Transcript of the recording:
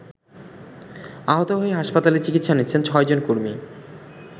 আহত হয়ে হাসপাতালে চিকিৎসা নিচ্ছেন ৬ জন কর্মী।